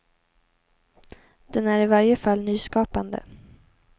Den är i varje fall nyskapande.